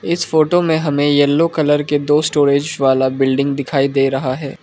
इस फोटो में हमें येलो कलर के दो स्टोरेज वाला बिल्डिंग दिखाई दे रहा है।